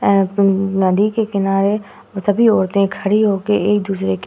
और नदी के किनारे सभी औरतें खड़ी होके एक-दूसरे के --